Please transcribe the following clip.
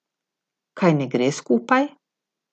Kaj ne gre skupaj?